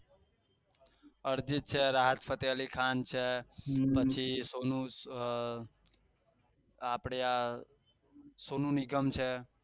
અર્જિત છે રાહત ફતેહ અલી ખાન છે પછી આ આપળે આ સોનું નિગમ છે